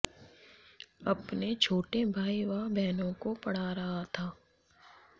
अपने छोटे भाई व बहनों को पढ़ा रहा था